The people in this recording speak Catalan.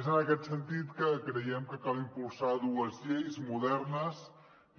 és en aquest sentit que creiem que cal impulsar dues lleis modernes